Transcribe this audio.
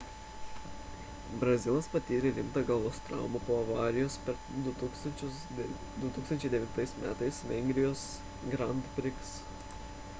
brazilas patyrė rimtą galvos traumą po avarijos per 2009 m vengrijos grand prix